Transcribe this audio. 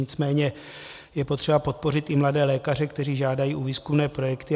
Nicméně je potřeba podpořit i mladé lékaře, kteří žádají o výzkumné projekty.